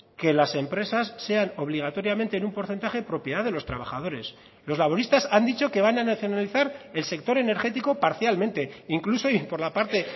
que las empresas sean obligatoriamente en un porcentaje propiedad de los trabajadores los laboristas han dicho que van a nacionalizar el sector energético parcialmente incluso y por la parte